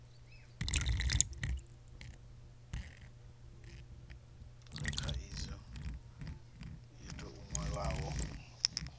le khaidzo yo tou nwalwaho